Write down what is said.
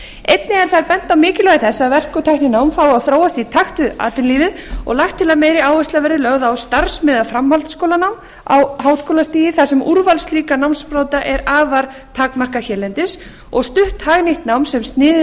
einnig er þar bent á mikilvægi þess að verk og tækninám fái að þróast í takt við atvinnulífið og lagt til að meiri áhersla verði lögð á starfsmiðað framhaldsskólanám á háskólastigi þar sem úrval slíkra námsbrauta er afar takmarkað hérlendis og stutt hagnýtt nám sem sniðið